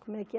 como é que é?